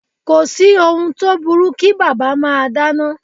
Kò sí ohun tó burú kí bàbá máa dáná.